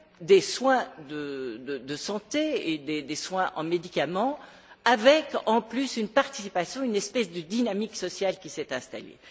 des soins de santé et des soins en médicaments avec, en plus, une participation, une espèce de dynamique sociale qui s'est installée.